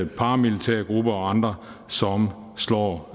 paramilitære grupper og andre som slår